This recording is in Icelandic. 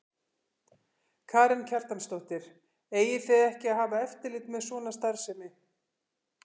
Karen Kjartansdóttir: Eigið þið ekki að hafa eftirlit með svona starfsemi?